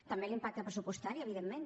també l’impacte pressupostari evidentment